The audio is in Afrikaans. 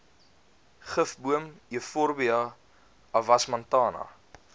gifboom euphorbia avasmantana